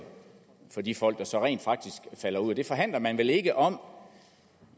for de folk der så rent faktisk falder ud det forhandler man vel ikke om